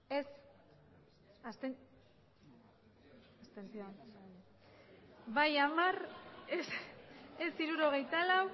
emandako botoak hirurogeita hamabost bai hamar ez hirurogeita lau